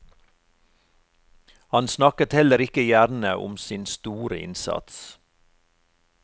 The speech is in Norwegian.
Han snakket heller ikke gjerne om sin store innsats.